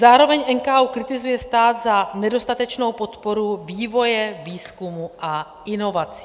Zároveň NKÚ kritizuje stát za nedostatečnou podporu vývoje, výzkumu a inovací.